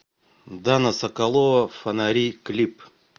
дана соколова фонари клип